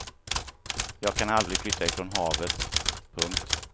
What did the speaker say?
Jag kan aldrig flytta ifrån havet. punkt